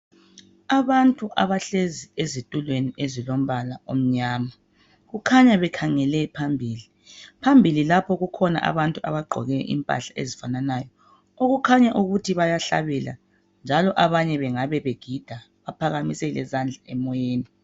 Abantu abahlezi ezitulweni ezilombala omnyama kukhanya bekhangele phambili phambili lapho kukhona abantu abagqoke impahla ezifananayo okukhanya ukuthi bayahlabela njalo abanye bengabe begida baphakamise lezandla emoyeni